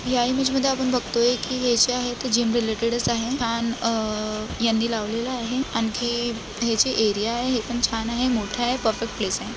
या इमेज मध्ये आपण बघतोय की ए_सी आहे. ते जीम रिलेटेडच आहे. फॅन अ यांनी लावलेला आहे. आणखी हे जे एरिया आहे हे पण छान आहे मोठाय. परफेक्ट प्लेसय